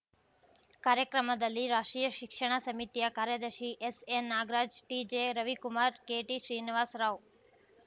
ಕಾರ್ಯಕ್ರಮದಲ್ಲಿ ರಾಷ್ಟ್ರೀಯ ಶಿಕ್ಷಣ ಸಮಿತಿಯ ಕಾರ್ಯದರ್ಶಿ S N Nagaraj T J Ravikumar K T Srinivas Rao